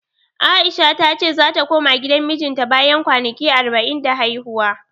A'isha ta ce zata koma gidan mijinta bayan kwanaki arba'in da haihuwa.